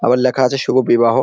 আবার লেখা আছে শুভ বিবাহ।